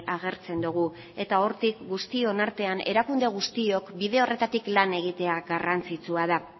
agertzen dugu eta hortik guztion artean erakunde guztiok bide horretatik lan egitea garrantzitsua da